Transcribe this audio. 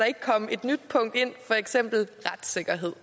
ikke komme et nyt punkt ind for eksempel retssikkerhed